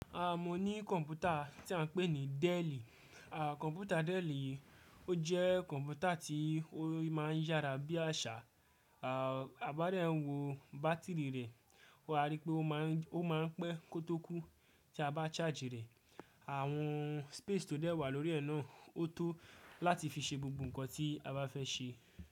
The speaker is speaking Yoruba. A mo ní kọ̀mpútà tí a ń pè ní Delli. Kọ̀mpútà Delli yi ó jẹ́ kọ̀mpútà tí ó máa ń yára bí àṣá, a bá rẹ ń wo bátìrì rẹ̀, wà á rí pé ó máa ń pẹ́ kótó kú tí a bá charge rẹ̀. Àwọn space tó dẹ́ wà lórí ẹ̀ náà ó tó láti fi ṣe gbogbo ǹkan tí a bá fẹ́ ṣe.